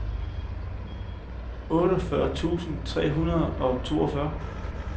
otteogfyrre tusind tre hundrede og toogfyrre